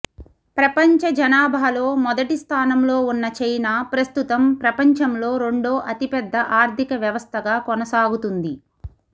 ప్రపంచ జనాభాలో మొదటి స్థానంలో ఉన్న చైనా ప్రస్తుతం ప్రపంచంలో రెండో అతిపెద్ద ఆర్థిక వ్యవస్థగా కొనసాగుతుంది